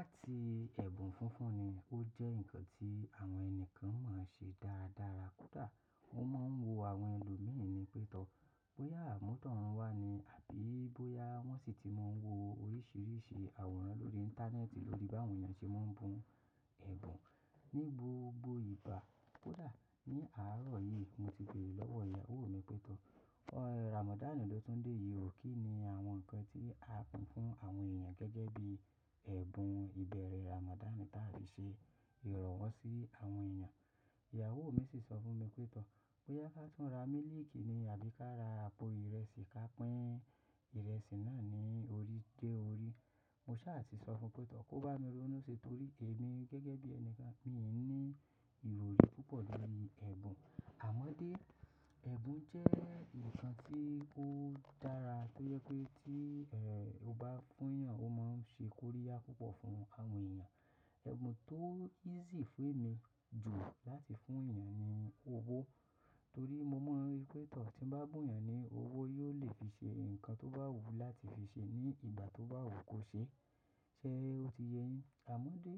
Àti ẹ̀bùn funfun ni ó jẹ́ ǹkan tí àwọn ẹni kan máa ń ṣe dáradára kódà wọ́n máa ń wo àwọn ẹlòmíràn ni pétọ̀ bóyá àmútọ̀runwá ni àbí bóyá wọ́n sì ti máa ń wo oríṣiríṣi àwòrán lórí Íńtánẹ́ẹ̀tì lórí báwo ni a ṣe máa ń bu ẹ̀bùn ní gbogbo ìgbà. Kódà ní àárọ̀ yìí, mo ti béèrè lọ́wọ́ ìyàwó mi pétọ̀, "Ọ̀nà Ramadan ló tún dé yìí, òké ni àwọn ǹkan tí a pin fún àwọn èèyàn gẹ́gẹ́ bí ẹ̀bùn ìbẹ̀rẹ̀ Ramadan ta fi ṣe ìrọ̀wọ́ sí àwọn èèyàn?" Ìyàwó mi sì sọ fún mi pétọ̀ bóyá ká tún ra mílìkì ni àbí ká ra àpò ìrẹsì ká pín ìrẹsì náà ní orí dé orí. Mo sá à ti sọ fún un pétọ̀ kó bá mi ronú ṣe torí èmi gẹ́gẹ́ bí ẹni kan, mi ò ní ìròrí púpọ̀ lórí ẹ̀bùn. Àmọ́dé, ẹ̀bùn jẹ́ ǹkan tí ó dára tó yẹ pé tí, e, o bá fún èèyàn, o máa ń ṣe kóríyá púpọ̀ fún àwọn èèyàn. Ẹ̀bùn tó easy fún èmi jù láti fún èèyàn ni owó torí mo mọ̀ pé tọ̀ tí ń bá gùn èèyàn ní owó, yóò lè fi ṣe ǹkan tó bá wù ú láti fi ṣe ní ìgbà tó bá wù kó ṣe. Ṣé o ti yéyín? Àmọ́dé,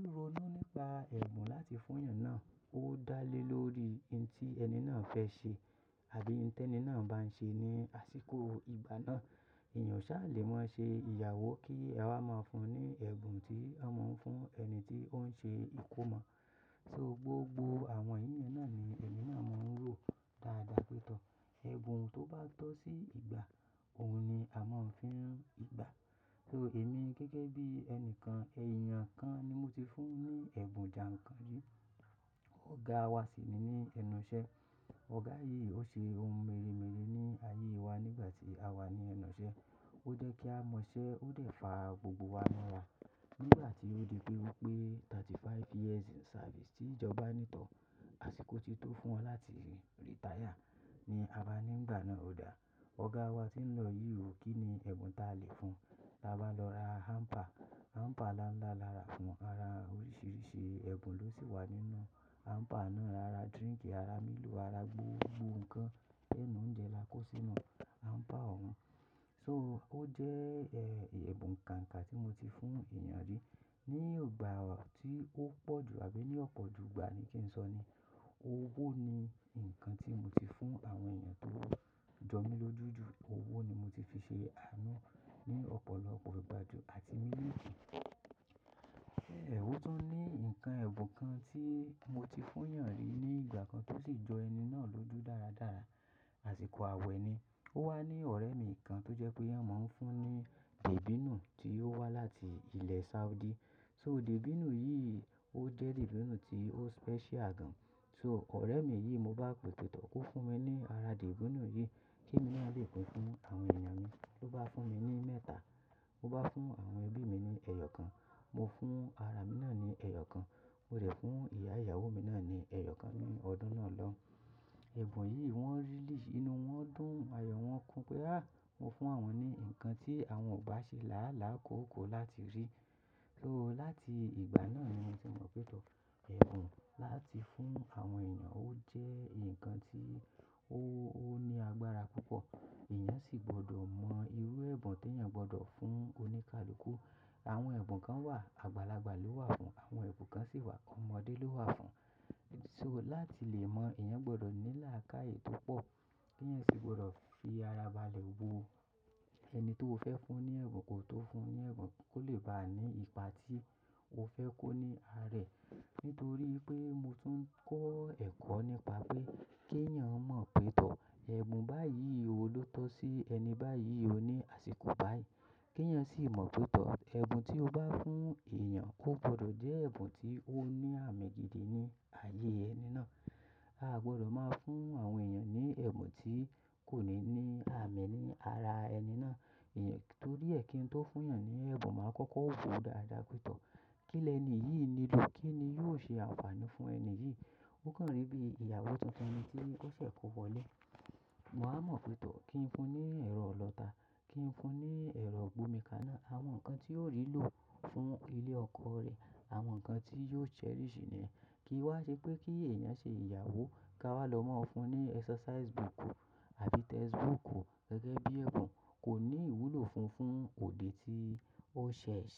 irú inú nípa ẹ̀bùn láti fún èèyàn náà ó dá lé lórí ohun tí ẹni náà fẹ́ ṣe àbí ohun tí ẹni náà bá ń ṣe ní àsìkò ìgbà náà. Ẹ̀yàn ṣá lè máa ṣe ìyàwó kí a máa fún un ní ẹ̀bùn tí a máa ń fún ẹni tí ó ń ṣe ìkómọ. So gbogbo àwọn èèyàn náà ni ẹni náà máa ń rò dáadáa pétọ̀. Ẹ̀bùn tó bá tọ́ sí ìgbà, òun ni a máa ń fi hàn ìgbà. So èmi gẹ́gẹ́ bí ẹni kan, èèyàn kan ni mo ti fún ní ẹ̀bùn jàǹkanjú. Ọ̀gá wa sì ni ní ẹnu iṣẹ́. Ọ̀gá yìí ó ṣe ohun meréméré ní ayé wa nígbà tí a wà ní ẹnu iṣẹ́. Ó jẹ́ kí a mọ iṣẹ́, ó dẹ̀ fa gbogbo wa mọ́ra. Nígbà tí ó di pé ó pé thirty five years in service tí ìjọba nítọ̀, àsìkò tí tó fún wọn láti retire ni a bá ní ìgbà náà ó dá. Ọ̀gá wa tí ń lọ yìí, òké ni ẹ̀bùn ta lè fún. A bá lọ ra hamper, hamper láńlá lára fún wa, ara oríṣiríṣi ẹ̀bùn ló sì wà nínú hamper náà. Ara drink, ara milo, ara gbogbo ǹkan ẹnu oúnjẹ la kó sínú hamper òun. So ó jẹ́, ẹ, ìyẹ̀bù nǹkan kan tí mo ti fún èèyàn rí. Ni ìgbà tí ó pọ̀ jù àbí ní ọ̀pọ̀jù ìgbà ni kí n sọ ni, owó ni ǹkan tí mo ti fún àwọn èèyàn tó jọ mí lójú ju. Owó ni mo ti fi ṣe àánú ní ọ̀pọ̀lọpọ̀ ìgbà ju àti mílìkì. Ṣé ẹ hú tó ní ǹkan ẹ̀bùn kan tí mo ti fún èèyàn rí ní ìgbà kan tó sì jọ ẹni náà lójú dáradára? Àsìkò àwẹ̀ ni. Ó wà ní ọ̀rẹ́ mi kan tó jẹ́ pé iyan máa ń fún ní dìbínù tí ó wá láti ilẹ̀ Saudi. So dìbínù yìí ó jẹ́ dìbínù tí ó special gan. So ọ̀rẹ́ mi yìí mo bá pè pé tọ̀ kó fún mi ní ara dìbínù yìí kí mo lè pin fún àwọn èèyàn mi. Mo bá fún mi ní mẹ́ta, mo bá fún àwọn ẹbí mi ní ẹyọ kan, mo fún ara mi náà ní ẹyọ kan, mo rẹ̀ fún ìyá ìyàwó mi náà ní ẹyọ kan ní ọdún náà lọ. Ẹ̀bùn yìí wọ́n release, inú wọn dùn, ayọ̀ wọn kún pé, "Á, mo fún àwọn ni ǹkan tí àwọn ò bá ṣe làálàá kóko láti rí." So láti ìgbà náà ni mo ti mọ̀ pé tọ̀, ẹ̀bùn láti fún àwọn èèyàn ó jẹ́ ǹkan tí ó ní agbára púpọ̀. Ẹ̀yàn sì gbọdọ̀ mọ irú ẹ̀bùn tí èèyàn gbọdọ̀ fún oníkalukú. Àwọn ẹ̀bùn kan wà, àgbàlagbà ló wà fún. Àwọn ẹ̀bùn kan sì wà, ọmọdé ló wà fún. So láti lè mọ̀, èèyàn gbọdọ̀ ní làákàyè tó pọ̀ kí èèyàn sì gbọdọ̀ fi ara balẹ̀ wo ẹni tó fẹ́ fún ní ẹ̀bùn kó tó fún ní ẹ̀bùn kó lè bá a ní ipa tí o fẹ́ kó ní arẹ̀. Nítorí pé mo tún kọ́ ẹ̀kọ́ nípa pé kí èèyàn mọ̀ pé tọ̀, ẹ̀bùn báyìí wo ló tọ́ sí ẹni báyìí ó ní àsìkò báyìí. Kí èèyàn sì mọ̀ pé tọ̀, ẹ̀bùn tí o bá fún èèyàn kò gbọdọ̀ jẹ́ ẹ̀bùn tí ó ní àmì gidi ní ayé ẹni náà. A gbọdọ̀ máa fún àwọn èèyàn ní ẹ̀bùn tí kò ní ní àmì ní ara ẹni náà. Torí ẹ kín tó fún èèyàn ní ẹ̀bùn máa kọ́kọ́ wo dáadáa pétọ̀. Kí ni ẹni yìí nilò? Kí ni yóò ṣe àǹfààní fún ẹni yìí? Ó kàn rí bí ìyàwó tuntun mi tí ó ṣẹ̀ kò wọlé. Mo á mọ̀ pé tọ̀ kí n fún un ní ẹ̀rọ ọlọ́ta, kí n fún un ní ẹ̀rọ gbomikana, àwọn ǹkan tí yóò rí lò fún ilé ọkọ rẹ̀, àwọn ǹkan tí yóò cherish ní. Kí í wá ṣe pé kí èèyàn ṣe ìyàwó ká wá lọ máa fún un ní exercise book àbí textbook gẹ́gẹ́ bí ẹ̀bùn kò ní ìwúlò funfun òde tí ó ṣẹ̀ ṣe.